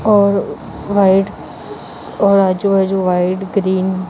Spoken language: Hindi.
औ व्हाइट औ जो है जो व्हाइट ग्रीन --